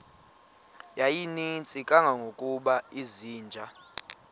yayininzi kangangokuba izinja